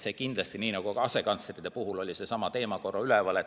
Ka asekantslerite puhul oli seesama teema üleval.